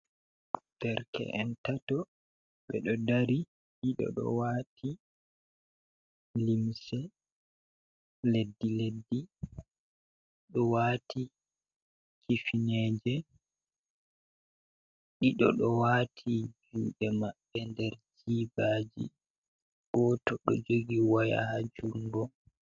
Nderke’en tato, be do dari dido do wati limse leddi leddi, do wati kifneje ,dido do wati jude mambe nder jibaji go to do jogi waya ha jungo.